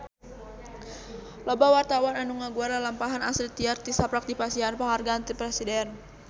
Loba wartawan anu ngaguar lalampahan Astrid Tiar tisaprak dipasihan panghargaan ti Presiden